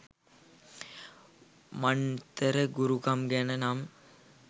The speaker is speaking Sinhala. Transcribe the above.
මන්තර ගුරුකම් ගැන නම්.